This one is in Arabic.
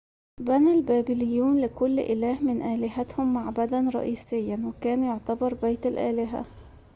بنى البابليون لكل إله من آلهتهم معبداً رئيسياً وكان يُعتبر بيت الإله